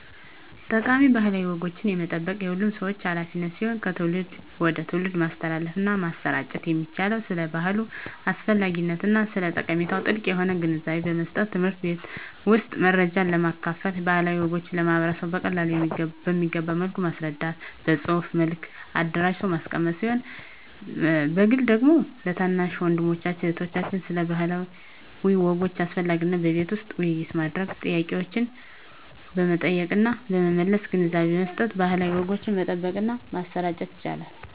ጠቃሚ ባህላዊ ወጎችን የመጠበቅ የሁሉም ሰው ሀላፊነት ሲሆን ከትውልድ ወደ ትውልድ ማስተላለፍና ማሰራጨት የሚቻለው ስለ ባህሉ አስፈላጊነትና ስለ ጠቀሜታው ጥልቅ የሆነ ግንዛቤን በመስጠት በትምህርት ቤት ውስጥ መረጃን በማካፈል ባህላዊ ወጎችን ለማህበረሰቡ በቀላሉ በሚገባ መልኩ በማስረዳት በፅሁፍ መልክ አደራጅቶ በማስቀመጥ ሲሆን በግል ደግሞ ለታናናሽ ወንድሞችና እህቶች ስለ ባህላዊ ወጎች አስፈላጊነት በቤት ውስጥ ውይይት በማድረግ ጥያቄዎችን በመጠየቅና በመመለስ ግንዛቤ በመስጠት ባህላዊ ወጎችን መጠበቅና ማሰራጨት ይቻላል።